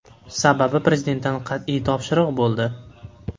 Sababi Prezidentdan qat’iy topshiriq bo‘ldi.